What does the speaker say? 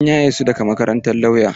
An yaye su daga makarantar lauya.